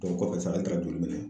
o kɔfɛ sa an taara joli minɛ